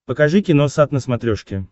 покажи киносат на смотрешке